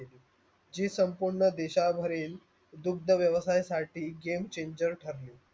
जी संपूर्ण देशा भरील दूधध व्यवस्यासाटी game changer ठरले.